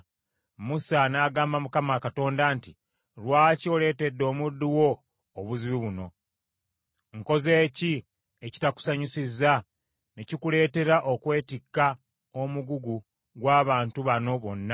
Musa n’agamba Mukama Katonda nti, “Lwaki oleetedde omuddu wo obuzibu buno? Nkoze ki ekitakusanyusizza ne kikuleetera okwetikka omugugu gw’abantu bano bonna?